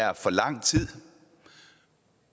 er for lang tid